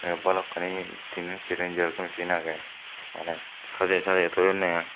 balukkani tinan seran xeroxo machine age mane saje saje toyonne ai.